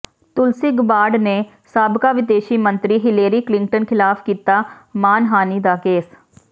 ਤੁਲਸੀ Gabbard ਨੇ ਸਾਬਕਾ ਵਿਦੇਸ਼ੀ ਮੰਤਰੀ ਹਿਲੇਰੀ ਕਲਿੰਟਨ ਖਿਲਾਫ ਕੀਤਾ ਮਾਣਹਾਨੀ ਦਾ ਕੇਸ